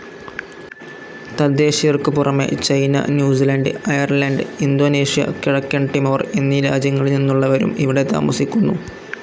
തദ്ദേശീയർക്കുപുറമെ China, New Zealand, Ireland, Indonesia, കിഴക്കൻ Timor എന്നീ രാജ്യങ്ങളിൽനിന്നുള്ളവരും ഇവിടെ താമസിക്കുന്നു.